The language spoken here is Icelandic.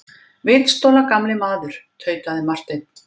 Vitstola gamli maður, tautaði Marteinn.